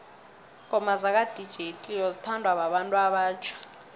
ingoma zaka dj cleo zithanwa babantu abatjha